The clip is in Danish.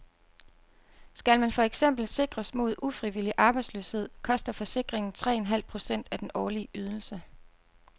Skal man for eksempel sikres mod ufrivillig arbejdsløshed, koster forsikringen tre en halv procent af den årlige ydelse.